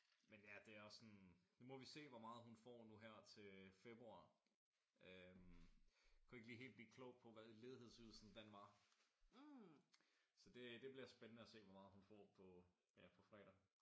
Men ja det er også sådan nu må vi se hvor meget hun får nu her til februar øh kunne ikke lige helt blive klog på hvad ledighedsydelsen den var. Så det bliver spændende at se hvor meget hun får på ja på fredag